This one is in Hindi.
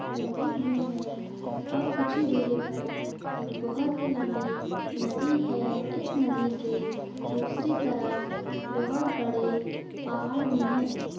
लगे हुए है और कुछ ही दूरी पर एक बहुत ही लंबी नदी है इस नदी के दूसरी तरफ बहुत बड़े पहाड़ भी है।